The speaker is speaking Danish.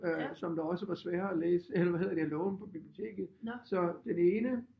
Øh som der også var svære at læse eller hvad hedder det at låne på biblioteket så den ene